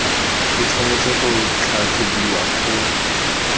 e tshwanetse go tlhatlhobiwa go